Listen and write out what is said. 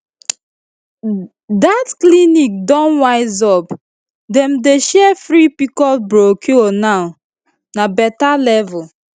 that clinic don wise up dem dey share free pcos brochure now na better level